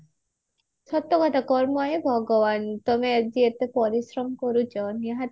ସତକଥା କର୍ମ ଏ ଭଗବାନ ତମେ ଆଜି ଏତେ ପରିଶ୍ରମ କରୁଛ ନିହାତି